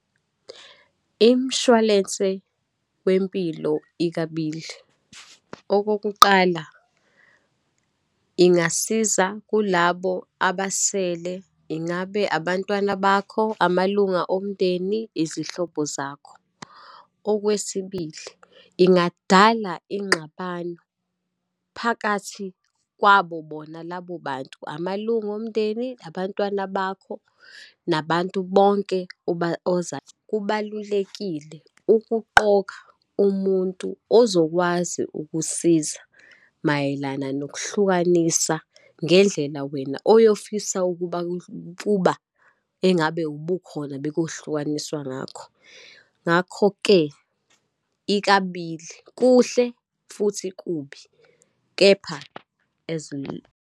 Imshwalense wempilo ikabili. Okokuqala, ingasiza kulabo abasele, ingabe abantwana bakho, amalunga omndeni, izihlobo zakho. Okwesibili, ingadala ingxabano phakathi kwabo bona labobantu, amalunga omndeni, abantwana bakho, nabantu bonke . Kubalulekile ukuqoka umuntu ozokwazi ukusiza mayelana nokuhlukanisa ngendlela wena oyofisa ukuba engabe ubukhona bekohlukaniswa ngakho. Ngakho-ke ikabili, kuhle futhi kubi. Kepha as .